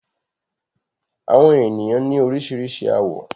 Àwọn ènìyàn ní oríṣiríṣi àwọ̀.